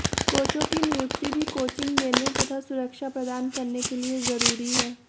कोचों की नियुक्ति भी कोचिंग देने तथा सुरक्षा प्रदान करने के लिए ज़रूरी है